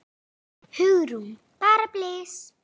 Hugrún: Bara blys?